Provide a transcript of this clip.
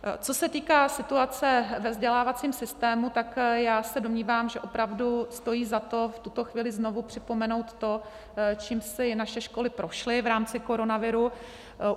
Co se týká situace ve vzdělávacím systému, tak já se domnívám, že opravdu stojí za to v tuto chvíli znovu připomenout to, čím si naše školy prošly v rámci koronaviru.